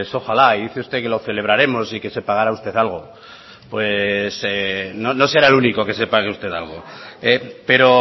ojalá y dice usted que lo celebraremos y que se pagará usted algo pues no será el único que se pague usted algo pero